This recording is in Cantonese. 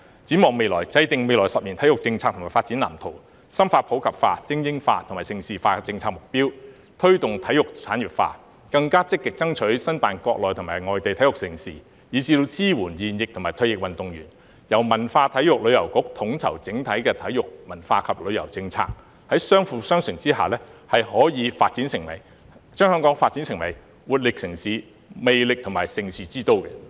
展望未來，制訂未來十年體育政策及發展藍圖、深化普及化、精英化及盛事化的政策目標、推動體育產業化、更積極爭取申辦國內及外地體育盛事，以至支援現役和退役運動員，由文體旅遊局統籌整體的體育文化及旅遊政策，在相輔相成之下，是可以把香港發展成為活力城市、魅力和盛事之都。